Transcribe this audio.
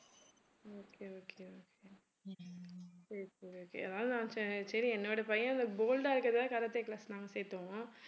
okay okay ஏதாவது சரி சரி என்னுடைய பையன் bold ஆ இருக்கிறதுகாக karate class நாங்க சேர்த்தோம்